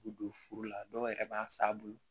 U don furu la dɔw yɛrɛ b'a san a bolo